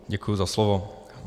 Děkuji za slovo.